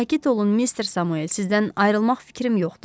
Sakit olun mister Samuel, sizdən ayrılmaq fikrim yoxdur.